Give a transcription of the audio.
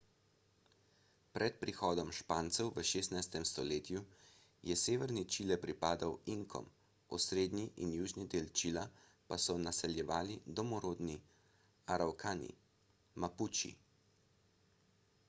pred prihodom špancev v 16. stoletju je severni čile pripadal inkom osrednji in južni del čila pa so naseljevali domorodni aravkani mapuči